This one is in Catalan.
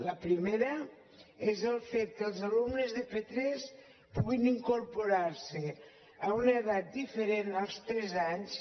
la primera és el fet que els alumnes de p3 puguin incorporar s’hi amb una edat diferent dels tres anys